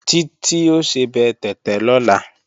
Títí ó sebẹ̀ tẹ̀tẹ̀ lọ́la